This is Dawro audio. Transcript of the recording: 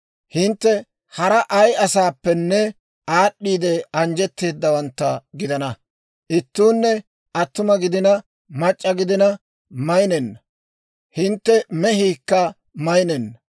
Hintte hara ay asaappenne aad'd'iide anjjetteedawantta gidana. Ittuunne attuma gidina, mac'c'a gidina maynenna. Hintte mehiikka maynenna.